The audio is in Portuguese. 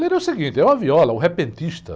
Violeiro é o seguinte, é uma viola, o repentista.